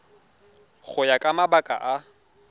go ya ka mabaka a